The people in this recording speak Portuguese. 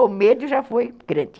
O medo já foi grande.